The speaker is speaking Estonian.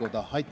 Aitäh!